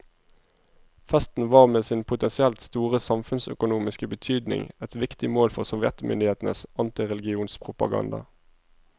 Fasten var med sin potensielt store samfunnsøkonomiske betydning et viktig mål for sovjetmyndighetenes antireligionspropaganda.